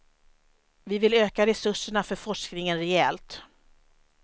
Vi vill öka resurserna för forskningen rejält.